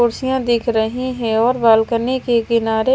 खुर्सिया दिख रही है और बालकनी के किनारे--